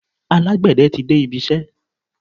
Alágbẹ̀dẹ tí de ibisẹ́.